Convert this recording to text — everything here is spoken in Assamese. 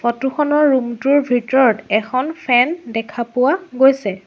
ফটো খনৰ ৰুম টোৰ ভিতৰত এখন ফেন দেখা পোৱা গৈছে।